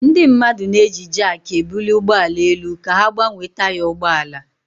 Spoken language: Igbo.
Ndị mmadụ na-eji jakị ebuli ụgbọ ala elu ka ha gbanwee taya ụgbọ ala.